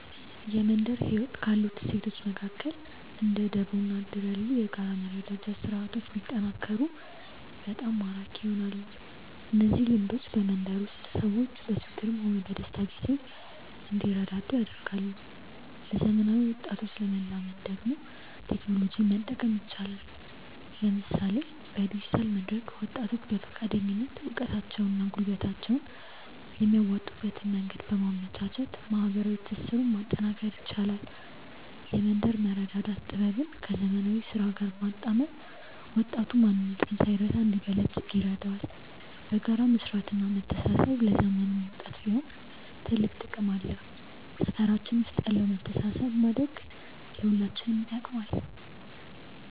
የመንደር ህይወት ካሉት እሴቶች መካከል እንደ ደቦ እና እድር ያሉ የጋራ መረዳጃ ስርዓቶች ቢጠናከሩ በጣም ማራኪ ይሆናሉ። እነዚህ ልምዶች በመንደር ውስጥ ሰዎች በችግርም ሆነ በደስታ ጊዜ እንዲረዳዱ ያደርጋሉ። ለዘመናዊ ወጣቶች ለማላመድ ደግሞ ቴክኖሎጂን መጠቀም ይቻላል፤ ለምሳሌ በዲጂታል መድረክ ወጣቶች በፈቃደኝነት እውቀታቸውንና ጉልበታቸውን የሚያዋጡበትን መንገድ በማመቻቸት ማህበራዊ ትስስሩን ማጠናከር ይቻላል። የመንደር መረዳዳት ጥበብን ከዘመናዊ ስራ ጋር ማጣመር ወጣቱ ማንነቱን ሳይረሳ እንዲበለጽግ ይረዳዋል። በጋራ መስራትና መተሳሰብ ለዘመኑም ወጣት ቢሆን ትልቅ ጥቅም አለው። ሰፈራችን ውስጥ ያለውን መተሳሰብ ማሳደግ ለሁላችንም ይጠቅማል።